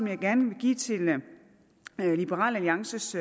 jeg gerne vil give til liberal alliances